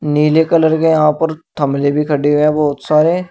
नीले कलर के यहां पर थमले भी खड़े हुए है बहोत सारे--